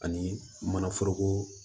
Ani manaforoko